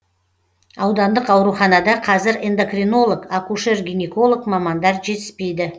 аудандық ауруханада қазір эндокринолог акушер гинеколог мамандар жетіспейді